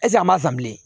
an m'a san bilen